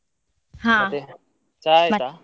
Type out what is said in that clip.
ಚಾ ಆಯ್ತಾ?